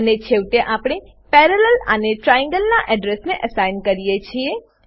અને છેવટે આપણે પેરાલેલ પેરેલલ આને ટ્રાયેંગલ નાં એડ્રેસને એસાઇન કરીએ છીએ